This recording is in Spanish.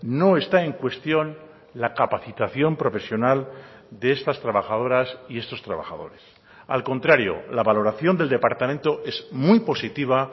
no está en cuestión la capacitación profesional de estas trabajadoras y estos trabajadores al contrario la valoración del departamento es muy positiva